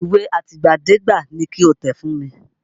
Ìwé àtìgbàdégbà ni ki o tẹ̀ fún mi!